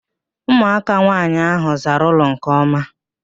Ụmụaka nwaanyị ahụ zara ụlọ nke ọma